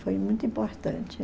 Foi muito importante.